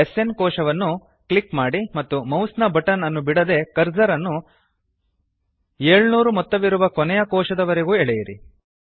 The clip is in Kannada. ಎಸ್ಎನ್ ಕೊಶವನ್ನು ಕ್ಲಿಕ್ ಮಾಡಿ ಮತ್ತು ಮೌಸ್ ನ ಬಟನ್ ಅನ್ನು ಬಿಡದೆ ಕರ್ಸರ್ ಅನ್ನು 700ಮೊತ್ತವಿರುವ ಕೊನೆಯ ಕೋಶದವರೆಗೂ ಎಳೆಯಿರಿ